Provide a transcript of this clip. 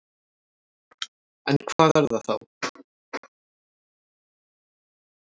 En hvað er þá að?